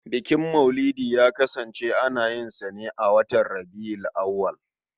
Bukin maulidi ya kasance ana yin sa ne a watan Rabi'ul Awwal.